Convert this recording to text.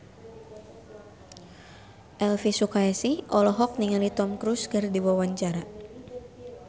Elvy Sukaesih olohok ningali Tom Cruise keur diwawancara